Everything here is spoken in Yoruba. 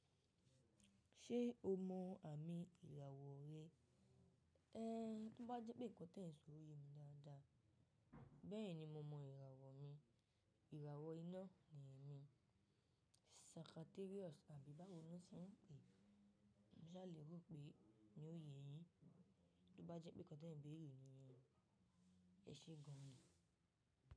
Ṣé o mọ àmì ìràwọ̀ rẹ? Ẹ, tó bá jẹ́ pé nkan tẹ n sò o ye mi dáadáa. Bẹ́ẹ̀ni mo mọ ìràwọ̀ mi, ìràwọ̀ iná ni ẹ́ mi. Sagittarius àbí báwo ni wọ́n ṣe ń pè é. Mo sàlè rò pé yi o ye yín. Tó bá jẹ́ pé nkan tẹ beré ni yẹn, ẹ ṣe gan ni.